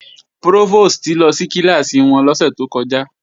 Prófòstì lọ sí kíláàsì wọn lọ́sẹ̀ tó kọjá